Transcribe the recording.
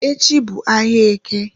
Echi bu ahia Eke